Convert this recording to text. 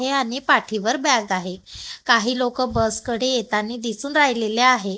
हे आणि पाठीवर बॅग आहे काही लोकं बस कडे येतानी दिसून राहिलेले आहे.